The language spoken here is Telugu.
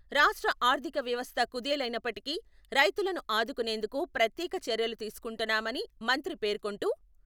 రాష్ట్ర ఆర్ధిక వ్యవస్థ కుదేలైనప్పటికీ రైతులను ఆదుకునేందుకు ప్రత్యేక చర్యలు తీసుకుంటున్నామని మంత్రి పేర్కొంటూ...